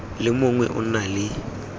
le mongwe o na le